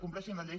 compleixin la llei